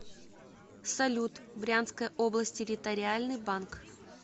салют брянская область территориальный банк